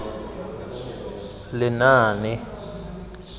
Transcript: lenaane